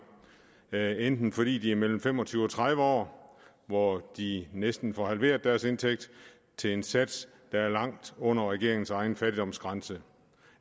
enten fordi de er mellem fem og tyve og tredive år hvor de næsten får halveret deres indtægt til en sats der er langt under regeringens egen fattigdomsgrænse